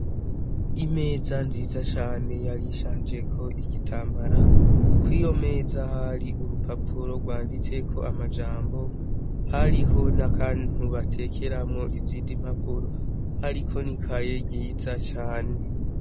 Imeza nziza cane yari ishanjeko igitambara, kw'iyo meza hari urupapuro rwanditseko amajambo, hariho n'akantu batekeramwo izindi mpapuro, hariko ni kaye ryiza cane.